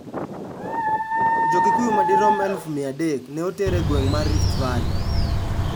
Jo-Kikuyu madirom 300,000 ne oter e gweng' mar Rift Valley.